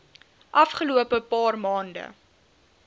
afgelope paar maande